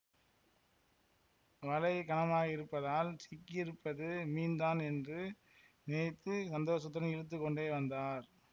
வலை கனமாக இருப்பதால் சிக்கியிருப்பது மீன்தான் என்று நினைத்து சந்தோஷத்துடன் இழுத்து கொண்டே வந்தார்